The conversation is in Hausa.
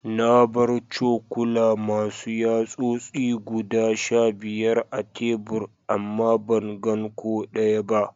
Na bar cokula Masu yatsosi guda Sha biyar a tebur ama ban gan ko daya ba.